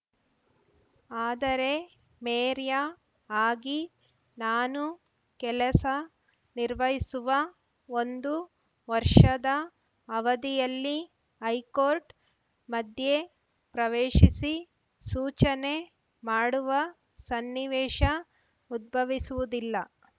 ಆದರೆ ಮೇರ್‌ಯಾ ಆಗಿ ನಾನು ಕೆಲಸ ನಿರ್ವಹಿಸುವ ಒಂದು ವರ್ಷದ ಅವಧಿಯಲ್ಲಿ ಹೈಕೋರ್ಟ್‌ ಮಧ್ಯೆಪ್ರವೇಶಿಸಿ ಸೂಚನೆ ಮಾಡುವ ಸನ್ನಿವೇಶ ಉದ್ಭವಿಸುವುದಿಲ್ಲ